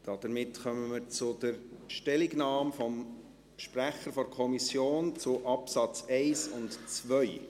Damit kommen wir zur Stellungnahme des Sprechers der Kommission zu den Absätzen 1 und 2.